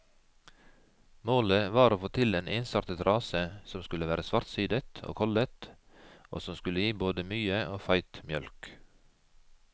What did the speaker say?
Målet var å få til en ensartet rase som skulle være svartsidet og kollet, og som skulle gi både mye og feit mjølk.